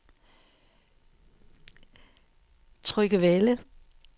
Tryggevælde